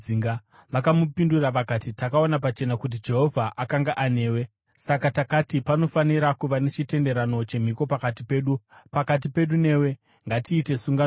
Vakamupindura vakati, “Takaona pachena kuti Jehovha akanga anewe; saka takati, ‘Panofanira kuva nechitenderano chemhiko pakati pedu,’ pakati pedu newe. Ngatiite sungano newe